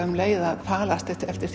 um leið að falast eftir eftir